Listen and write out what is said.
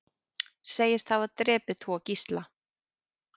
Segist hafa drepið tvo gísla